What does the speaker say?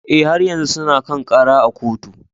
Eh, har yanzu suna kan kara a kotu.